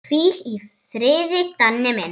Hvíl í friði, Danni minn.